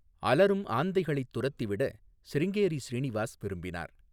அலறும் ஆந்தைகளைத் துரத்திவிட சிருங்கேரி ஸ்ரீநிவாஸ் விரும்பினார்.